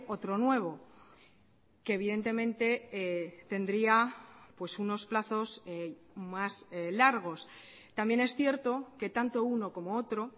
otro nuevo que evidentemente tendría pues unos plazos más largos también es cierto que tanto uno como otro